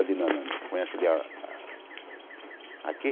Ali na na na conhece ali a a... Aqui?